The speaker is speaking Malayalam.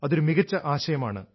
അതൊരു മികച്ച ആശയമാണ്